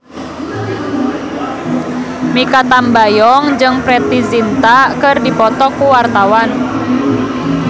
Mikha Tambayong jeung Preity Zinta keur dipoto ku wartawan